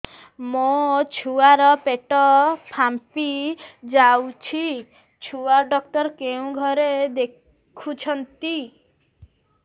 ମୋ ଛୁଆ ର ପେଟ ଫାମ୍ପି ଯାଉଛି ଛୁଆ ଡକ୍ଟର କେଉଁ ଘରେ ଦେଖୁ ଛନ୍ତି